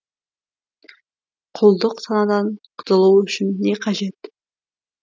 құлдық санадан құтылу үшін не қажет